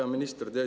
Hea minister!